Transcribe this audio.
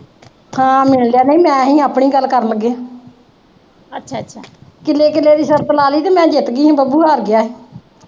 ਮੈਂ ਆਪਣੀ ਗੱਲ ਕਰਨ ਲੱਗੀ ਕਿੱਲੇ ਕਿੱਲੇ ਦੀ ਸ਼ਰਤ ਲਾ ਲਈ ਸੀ ਤੇ ਮੈਂ ਜਿੱਤ ਗਈ ਸੀ ਤੇ ਬੱਬੂ ਹਾਰ ਗਿਆ ਸੀ।